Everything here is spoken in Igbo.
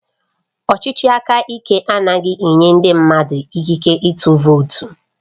Ọchịchị aka ike anaghị enye ndị mmadụ ikike ịtụ vootu